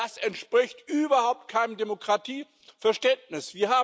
Das entspricht überhaupt keinem Demokratieverständnis.